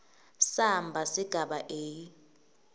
samba sigaba a